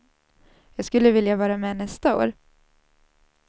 Jag skulle vilja vara med nästa år.